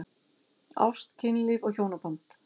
Ást, kynlíf og hjónaband